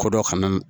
Kɔ dɔ kana